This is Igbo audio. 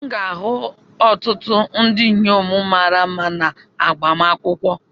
M ga-ahụ ọtụtụ ndị inyom mara mma na agbamakwụkwọ.